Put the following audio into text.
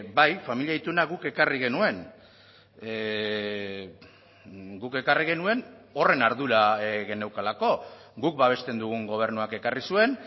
bai familia ituna guk ekarri genuen guk ekarri genuen horren ardura geneukalako guk babesten dugun gobernuak ekarri zuen